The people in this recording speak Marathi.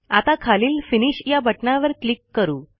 आता खालील फिनिश या बटणावर क्लिक करू